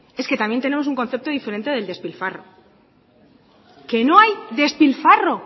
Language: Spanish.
es que también tenemos un concepto diferente del despilfarro que no hay despilfarro